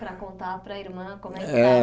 Para contar para a irmã como é que É estava